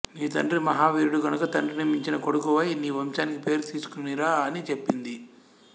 నీ తండ్రి మహావీరుడు కనుక తండ్రిని మించిన కొడుకువై నీ వంశానికి పేరు తీసుకొనిరా అని చెప్పింది